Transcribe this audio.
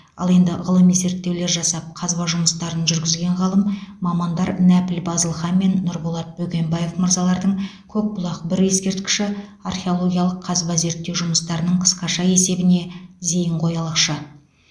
ал енді ғылыми зерттеулер жасап қазба жұмыстарын жүргізген ғалым мамандар нәпіл базылхан мен нұрболат бөгенбаев мырзалардың көкбұлақ бір ескерткіші археологиялық қазба зерттеу жұмыстарының қысқаша есебіне зейін қоялықшы